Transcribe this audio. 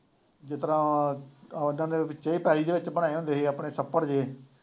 ਜਿਸ ਤਰ੍ਹਾਂ ਦੇ ਦੇ ਵਿੱਚ ਬਣੇ ਹੁੰਦੇ ਸੀ ਆਪਣੇ ਛੱਪੜ ਜਿਹੇ